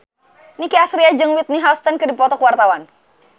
Nicky Astria jeung Whitney Houston keur dipoto ku wartawan